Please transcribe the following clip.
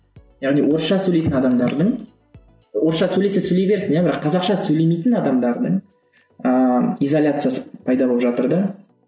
яғни орысша сөйлейтін адамдардың орысша сөйлесе сөйлей берсін иә бірақ қазақша сөйлемейтін адамдардың ыыы изоляциясы пайда болып жатыр да